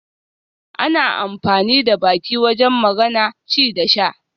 Ana amfani da baki wajen magana, ci da sha